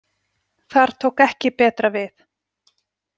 Þar tók ekki betra við.